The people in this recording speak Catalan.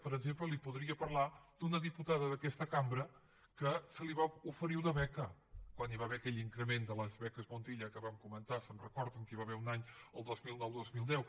per exemple li podria parlar d’una diputada d’aquesta cambra que se li va oferir una beca quan hi va haver aquell increment de les beques montilla que vam comentar se’n recorden que hi va haver un any el dos mil nou dos mil deu